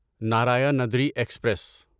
Narayanadri express